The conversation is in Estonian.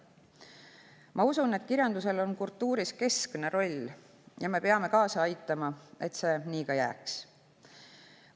Ma usun, et kirjandusel on kultuuris keskne roll, ja me peame kaasa aitama, et see nii ka jääks.